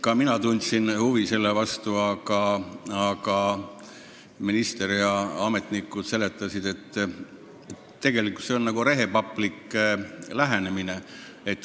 Ka mina tundsin selle vastu huvi, aga minister ja teised ametnikud seletasid, et see on nagu rehepaplik lähenemine.